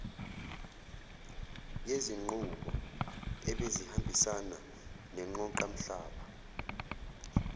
yezinqubo ebezihambisana neqoqamhlaba